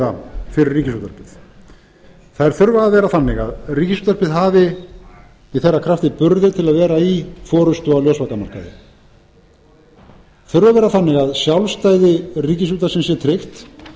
fjármögnunarleiða fyrir ríkisútvarpið þær þurfa að vera þannig að ríkisútvarpið hafi í þeirra krafti burði til að vera í forustu á ljósvakamarkaði þurfa að vera þannig að sjálfstæði ríkisútvarpsins sé tryggt